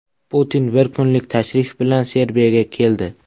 Putin bir kunlik tashrif bilan Serbiyaga keldi.